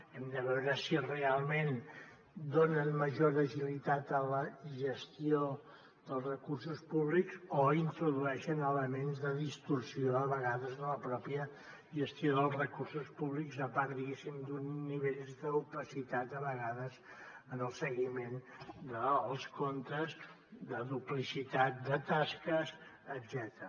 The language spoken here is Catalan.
hem de veure si realment donen major agilitat a la gestió dels recursos públics o introdueixen elements de distorsió a vegades en la pròpia gestió dels recursos públics a part diguéssim d’uns nivells d’opacitat a vegades en el seguiment dels comptes de duplicitat de tasques etcètera